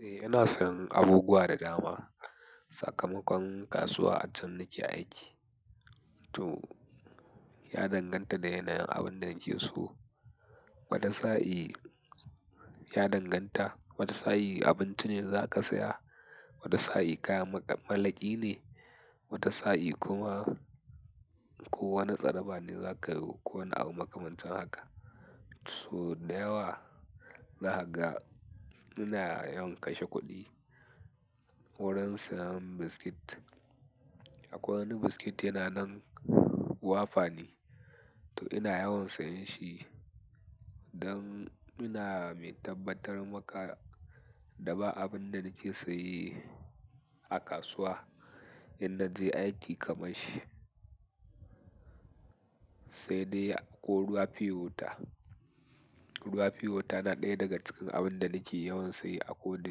Eh, yana sayan abubuwa da dama. Sakamakon kasuwa a can nake aiki, to ya danganta da yanayin abin da nake so. Wata sa'i ya danganta, wata sa'i abinci ne za ka saya, wata sa'i kaya mak malaki ne, wata sa'i kuma ko wani tsaraba ne za ka yo ko wani abu makamancin haka. Sau da yawa zaka ga ina yawan kashe kuɗi wurin sayan biskit. Akwai wani biskit yana nan wafa ne, to ina yawan sayan shi don ina mai tabbatar maka da ba abin da nake se yi a kasuwa in naje aiki kamar shi. Sai dai ko ruwa fiyo wata, ruwa fiyo wata yana ɗaya daga cikin abin da nake yawan saye ako da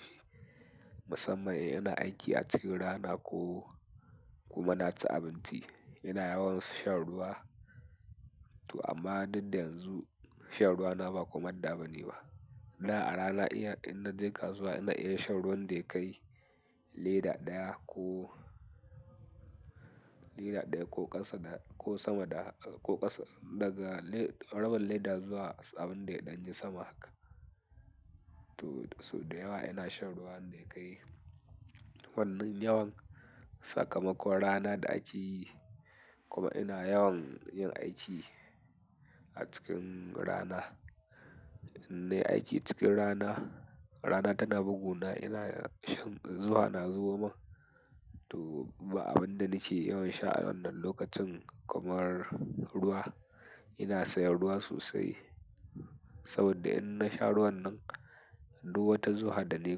shi. Musamman in ina aiki a cikin rana ko kuma na ci abinci, ina yawan shan ruwa. To amma duk da yanzu shan ruwa na ba komanda bane ba. Da a rana iya, in na je kasuwa ina iya shan ruwan da ya kai leda ɗaya ko leda ɗaya ko ƙasa da ko sama da ko ƙasa daga le rabin leda zuwa abin da ya ɗan yi sama haka. To, sau da yawa ina shan ruwan da ya kai wannan yawan. Sakamakon rana da ake yi kuma ina yawan yin aiki a cikin rana. In nayi aiki cikin rana, rana tana buguna ina shan zufa na zubo mun. To ba abin da nake yawan sha a wannan lokacin kamar ruwa. Ina sayan ruwa sosai saboda in na sha ruwan nan, duk wata zuha da nayi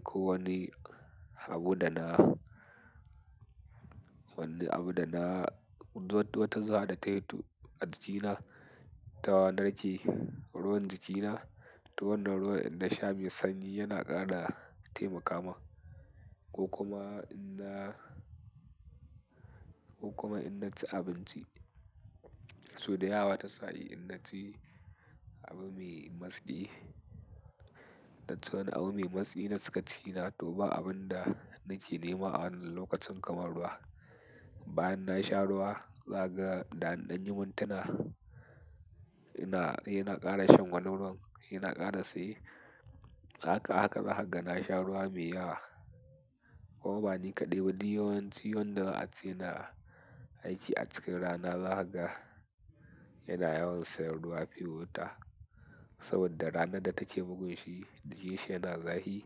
kowani abu da na wani abu da na duk wata zuha da tayi to a jikina. Ta narke ruwan jikina, to wannan ruwan in na sha mai sanyi yana ƙara taimaka min. Ko kuma in na, ko kuma in na ci abinci. Sau da yawa ta sa'i in na ci abu mai matsi, na ci wani abu mai matsi na cika cikina to ba abun da nake nema a wannan lokacin kamar ruwa. Bayan na sha ruwa, zakaga da an danyi mintuna ina yana ƙara shan wani ruwan, yana ƙara saye, haka haka zakaga na sha ruwa mai yawa. Ko ba ni kaɗai ba duk yawanci wadanda a ce yana aiki a cikin rana zakaga yana yawan sayan ruwa fiyo wata. Saboda rana da take bugun shi jikin shi yana zahi,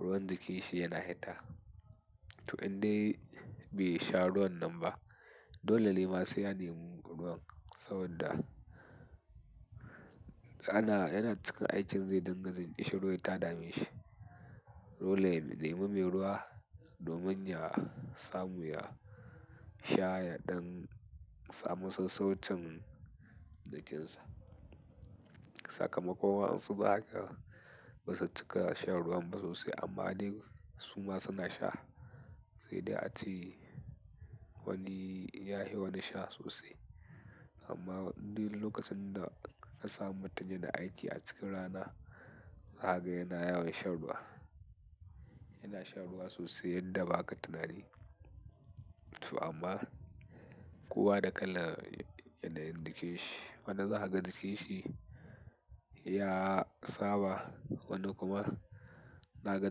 ruwan jikin shi yana heta. To in dai bai sha ruwan nan ba, dole ne ma sai ya nemi ruwan saboda ana, yana cikin aikin zai dinga jin kicin ruwa ya ta dame shi. Dole ya nemi mai ruwa domin ya samu ya sha ya ɗan samu sassaucin jikin sa. Sakamakon wasu--- ba su cika shan ruwan ba sosai amma dai su ma suna sha. Sai dai a ce wani ya hi wani sha sosai. Amma duk lokacin da ka samu mutum yana aiki a cikin rana zakaga yana yawan shan ruwa. Yana shan ruwa sosai yadda ba ka tunani. To amma kowa da kalan yanayin jikinshi wani zakaga jikin shi ya saba, wani kuma zakaga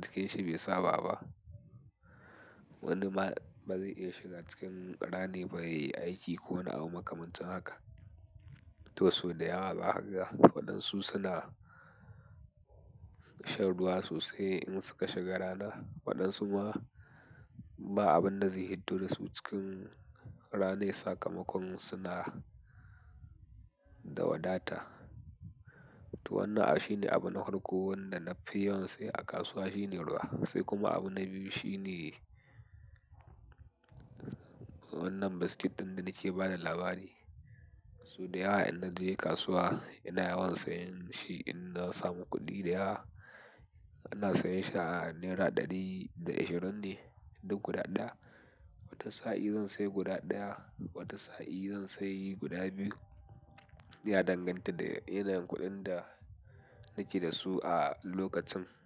jikin shi bai saba ba. Wani ma ba zai iya shiga cikin ranai ba ya yi aiki ko wani abu makamancin haka. To sau da yawa zakaga waɗansu suna shan ruwa sosai in suka shiga rana, waɗansu ma ba abin da zai hiddo da su cikin ranai sakamakon suna da wadata. To wannan i abu shine abun na farko wanda nafi yawan saye a kasuwa shine ruwa. Sai kuma abu na biyu shine wannan biskit ɗin da nake ba da labari. Sau da yawa idan na je kasuwa ina yawan sayan shi in na samu kuɗi da yawa, ina sayan shi a naira ɗari da eshirin ne duk guda ɗaya. Wata sa'i zan sayi guda ɗaya, wata sa'i zan sayi guda biyu. Ya danganta da yanayin kuɗin da nake da su a lokacin.